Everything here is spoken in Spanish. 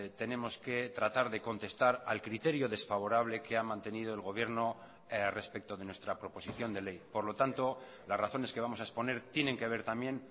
tenemos que tratar de contestar al criterio desfavorable que ha mantenido el gobierno respecto de nuestra proposición de ley por lo tanto las razones que vamos a exponer tienen que ver también